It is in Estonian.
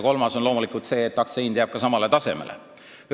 Kolmas on loomulikult see, et aktsia hind jääb samale tasemele.